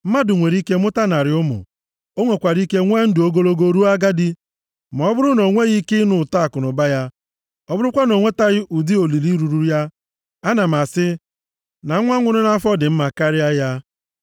Mmadụ nwere ike mụta narị ụmụ, o nwekwara ike nwee ndụ ogologo ruo agadi, ma ọ bụrụ na o nweghị ike ịnụ ụtọ akụnụba ya, ọ bụrụkwa na o nwetaghị ụdị olili ruru ya, ana m asị, na nwa nwụrụ nʼafọ + 6:3 Maọbụ, a mụkworo amụkwo dị mma karịa ya.